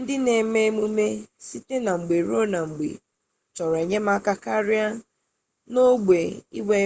ndị na-eme emume site na mgbe ruo na mgbe chọrọ enyemaka karịa n'ogbe inwe